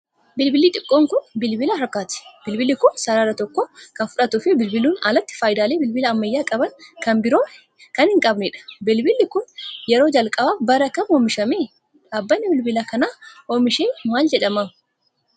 Bilbilli xiqqoon kun, bilbila harkaati. Bilbilli kun, sarara tokko kan fudhattuu fi bilbiluun alatti faayidaalee bilbilli ammayyaa qaban kan biroo kan hin qabnee dha. Bilbilli kun, yeroo jalqabaaf bara kam oomishame? Dhaabbanni bilbila kana oomishe maal jedhama?